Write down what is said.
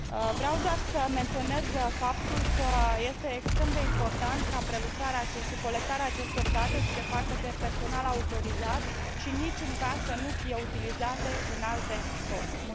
Vreau doar să menționez faptul că este extrem de important ca prelucrarea și colectarea acestor date să se facă de către personal autorizat și în niciun caz să nu fie utilizate în alte scopuri.